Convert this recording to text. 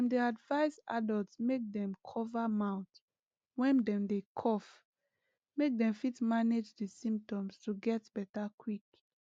dem dey advise adults make dem cover mouth when dem dey cough make dem fit manage di symptoms to get beta quick